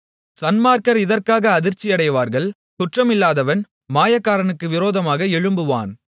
சன்மார்க்கர் இதற்காக அதிர்ச்சியடைவார்கள் குற்றமில்லாதவன் மாயக்காரனுக்கு விரோதமாக எழும்புவான்